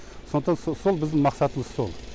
сондықтан сол біздің мақсатымыз сол